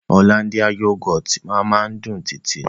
Òlándíà yúgọ́tì ma ma dùn títí ni